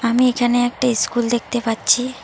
আমি এখানে একটা ইস্কুল দেখতে পাচ্ছি।